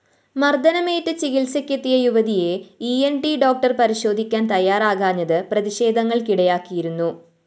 മര്‍ദ്ദനമേറ്റ് ചികിത്സക്കെത്തിയ യുവതിയെ ഇ ന്‌ ട്‌ ഡോക്ടർ പരിശോധിക്കാന്‍ തയ്യാറാകാഞ്ഞത് പ്രതിഷേധങ്ങള്‍ക്കിടയാക്കിയിരുന്നു